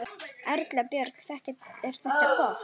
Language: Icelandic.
Erla Björg: Er þetta gott?